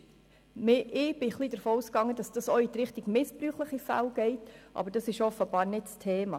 Ich bin ein Stück weit davon ausgegangen, dass dies auch in Richtung missbräuchlicher Fälle geht, aber das ist offenbar nicht das Thema.